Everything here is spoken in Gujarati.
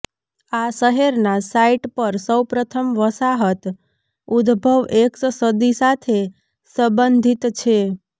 આ શહેરના સાઇટ પર સૌપ્રથમ વસાહત ઉદભવ એક્સ સદી સાથે સંબંધિત છે